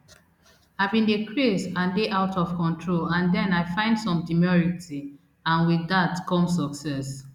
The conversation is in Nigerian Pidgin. i bin dey craze and dey out of control and den i find some demurity and wit dat come success